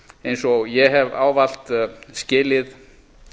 eins og ég hef ávallt skilið